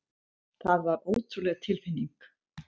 Það var ótrúleg tilfinning.